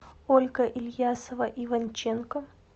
ольга ильясова иванченко